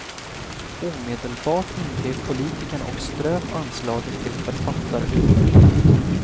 Omedelbart ingrep politikerna och ströp anslaget till författarutbytet.